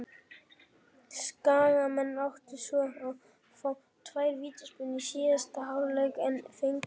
Skagamenn áttu svo að fá tvær vítaspyrnu í síðari hálfleik en fengu ekki.